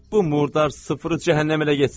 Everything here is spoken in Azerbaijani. Bu murdar sıfırı cəhənnəmə elə getsin.